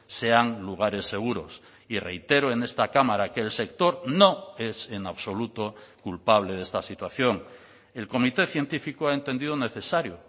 sean lugares seguros y reitero en esta cámara que el sector no es en absoluto culpable de esta situación el comité científico ha entendido necesario